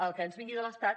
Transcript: el que ens vingui de l’estat